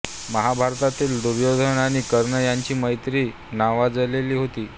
महाभारतातील दुर्योधन आणि कर्ण यांची मैत्री ही नावाजलेली होती